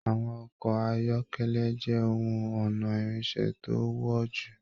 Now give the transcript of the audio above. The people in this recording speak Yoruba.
Àwọn ọkọ ayọkẹlẹ jẹ ohùn ọnà irinṣẹ́ to wo jù.